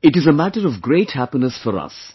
It is a matter of great happiness for us